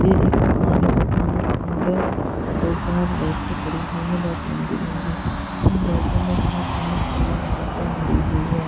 ये एक दुकान है इस दुकान के अंदर दो चार रैके पडी हुई है बहुत लंबी लंबी उन रैको मे बहुत सारी किताब कॉपी भरी हुई है।